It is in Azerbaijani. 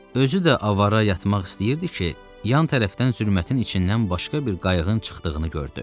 Özü də avara yatmaq istəyirdi ki, yan tərəfdən zülmətin içindən başqa bir qayığın çıxdığını gördü.